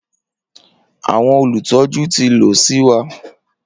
Awọn olutọju ti lọ si wa.